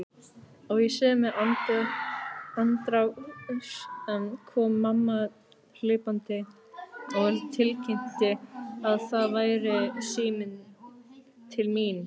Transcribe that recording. Og í sömu andrá kom mamma hlaupandi og tilkynnti að það væri síminn til mín.